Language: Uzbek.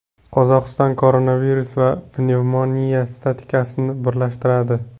Qozog‘iston koronavirus va pnevmoniya statistikasini birlashtiradi.